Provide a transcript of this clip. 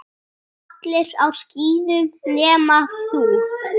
Allir á skíðum nema þú.